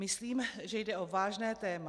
Myslím, že jde o vážné téma.